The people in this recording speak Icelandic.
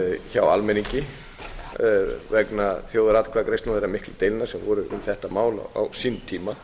hjá almenningi vegna þjóðaratkvæðagreiðslna og þeirra miklu deilna sem voru um þetta mál á sínum tíma